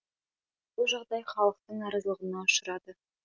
бұл жағдай халықтың наразылығына ұшырады